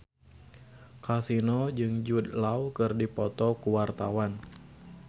Kasino jeung Jude Law keur dipoto ku wartawan